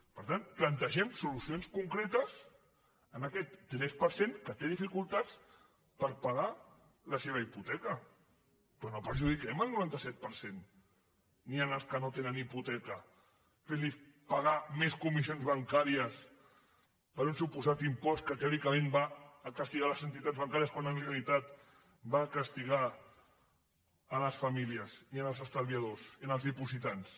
per tant plantegem solucions concretes per a aquest tres per cent que té dificultats per pagar la seva hipoteca però no perjudiquem el noranta set per cent ni els que no tenen hipoteca fentlos pagar més comissions bancàries per un suposat impost que teòricament va a castigar les entitats bancàries quan en realitat va a castigar les famílies i els estalviadors i els dipositants